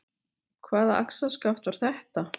Hvaða axarskaft var þetta?